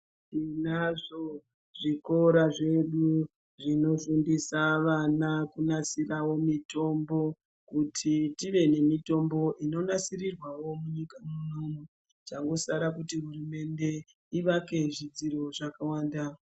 Tinazvo zvikora zvedu zvinofundisa vana kunasirawo mitombo kuti tive nemitombo inonasirirwawo munyika munomu changosara kuti hurumende ivake zvidziro zvakawanda.